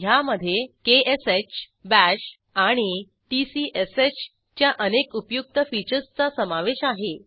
ह्यामधे क्ष बाश आणि tcshच्या अनेक उपयुक्त फीचर्सचा समावेश आहे